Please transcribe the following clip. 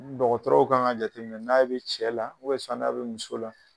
Dɔgɔtɔrɔw ka kan ka jateminɛ n'a bɛ cɛ la sisan n'a bɛ muso la